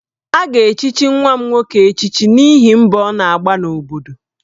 A ga-echichi nwa m nwoke echichi n'ihi mbọ ọ na-agba n'obodo